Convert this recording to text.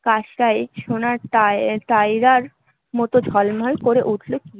কাছটায় সোনার টাই টায়রার মত ঝলমল করে উঠল কি